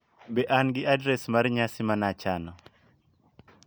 Be an gi adres mar nyasi mana chano